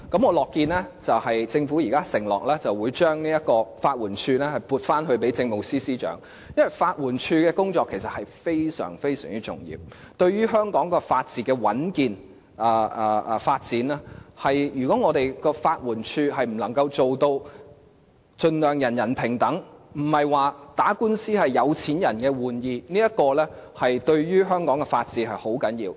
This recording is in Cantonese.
我樂見政府現時承諾將法援署撥歸政務司司長負責，因為法援署的工作其實非常重要，對於香港法治的穩健和發展是關鍵，如果法援署能盡量做到人人平等，使打官司並非是有錢人的玩兒，這對於香港的法治是很重要的。